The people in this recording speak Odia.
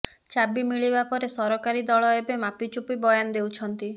ଚାବି ମିଳିବା ପରେ ସରାକରୀ ଦଳ ଏବେ ମାପିଚୁପି ବୟାନ ଦେଉଛନ୍ତି